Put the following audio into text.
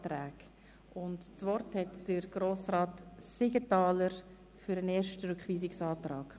Das Wort hat Grossrat Siegenthaler für den ersten Rückweisungsantrag.